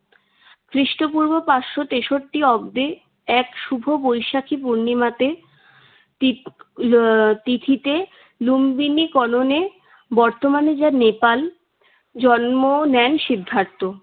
খ্রিষ্টপূর্ব পাঁচশো তেষট্টি অব্দে এক শুভ বৈশাখী পূর্ণিমাতে তি~ আহ তিথিতে লুম্বিনিকলনে বর্তমানে যা নেপাল জন্ম নেন সিদ্ধার্থ।